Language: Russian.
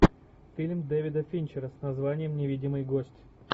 фильм дэвида финчера с названием невидимый гость